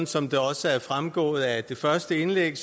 som det også er fremgået af det første indlæg